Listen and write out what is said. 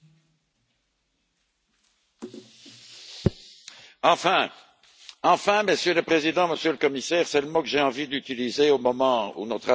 Monsieur le Président, Monsieur le Commissaire, enfin! C'est le mot que j'ai envie d'utiliser au moment où notre assemblée va donner son consentement à la proposition de révision du cadre financier pluriannuel.